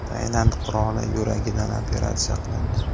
Tailand qiroli yuragidan operatsiya qilindi.